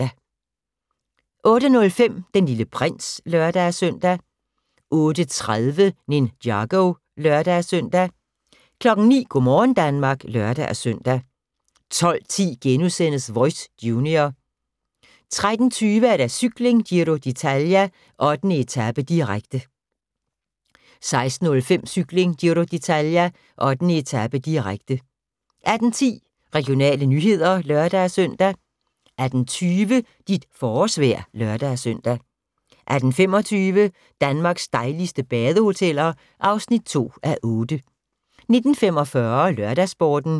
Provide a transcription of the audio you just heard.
08:05: Den Lille Prins (lør-søn) 08:30: Ninjago (lør-søn) 09:00: Go' morgen Danmark (lør-søn) 12:10: Voice – junior * 13:20: Cykling: Giro d'Italia - 8. etape, direkte 16:05: Cykling: Giro d'Italia - 8. etape, direkte 18:10: Regionale nyheder (lør-søn) 18:20: Dit forårsvejr (lør-søn) 18:25: Danmarks dejligste badehoteller (2:8) 19:45: LørdagsSporten